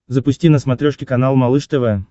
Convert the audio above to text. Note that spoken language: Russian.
запусти на смотрешке канал малыш тв